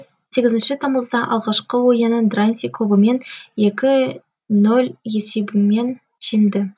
сегізінші тамызда алғашқы ойының дранси клубымен екі нөл есебімен жеңді